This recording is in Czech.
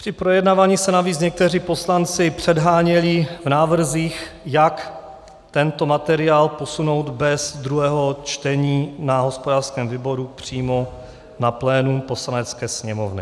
Při projednávání se navíc někteří poslanci předháněli v návrzích, jak tento materiál posunout bez druhého čtení na hospodářském výboru přímo na plénum Poslanecké sněmovny.